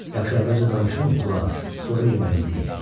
Yaxşı, əvvəlcə danışım, qulaq as, sonra yeməyimizi yeyək.